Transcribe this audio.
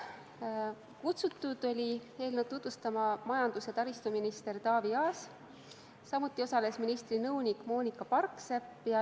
Eelnõu oli tutvustama kutsutud majandus- ja taristuminister Taavi Aas, samuti osales ministri nõunik Moonika Parksepp.